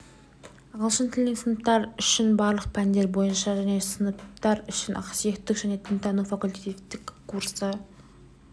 ағылшын тілінен сыныптар үшін барлық пәндер бойынша және сыныптар үшін ақсүйектік және дінтану факультативтік курсы